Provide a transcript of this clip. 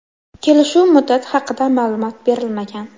Kelishuv muddati haqida ma’lumot berilmagan.